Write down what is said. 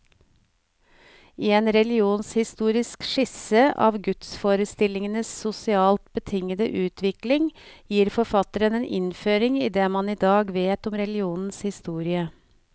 I en religionshistorisk skisse av gudsforestillingenes sosialt betingede utvikling, gir forfatteren en innføring i det man i dag vet om religionens historie.